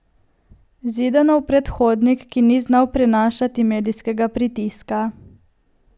Zidanov predhodnik, ki ni znal prenašati medijskega pritiska.